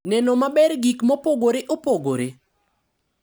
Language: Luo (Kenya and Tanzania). Neno maber gik mopogore opogore.